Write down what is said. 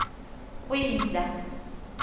kwindla